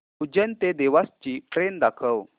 उज्जैन ते देवास ची ट्रेन दाखव